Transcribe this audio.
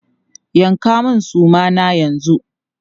Yanka mun suma na yanzu!